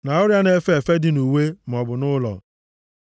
na ọrịa na-efe efe dị nʼuwe maọbụ nʼụlọ,